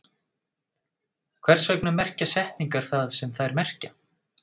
Hvers vegna merkja setningar það sem þær merkja?